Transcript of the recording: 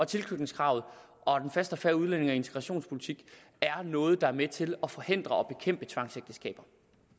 tilknytningskravet og den faste og fair udlændinge og integrationspolitik er noget der er med til at forhindre og bekæmpe tvangsægteskaber